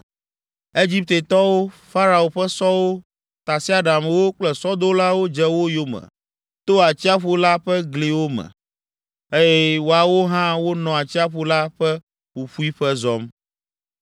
Egiptetɔwo, Farao ƒe sɔwo, tasiaɖamwo kple sɔdolawo dze wo yome to atsiaƒu la ƒe gliwo me, eye woawo hã wonɔ atsiaƒu la ƒe ƒuƒuiƒe zɔm.